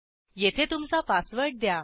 येथे तुमचा पासवर्ड द्या